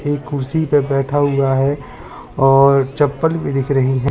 एक कुर्सी पे बैठा हुआ है और चप्पल भी दिख रही है।